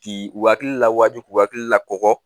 K'i u hakili lawaju k'u hakili lakɔgɔ